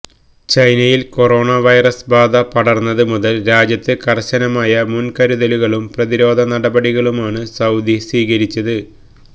ചൈനയില് corona virus ബാധ പടര്ന്നത് മുതല് രാജ്യത്ത് കര്ശനമായ മുന്കരുതലുകളും പ്രതിരോധ നടപടികളുമാണ് സൌദി സ്വീകരിച്ചത്